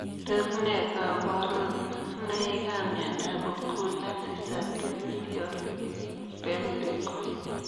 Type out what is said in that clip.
Tos ne kabaruboik ap miondoop okula sisatirisiol pempikoi?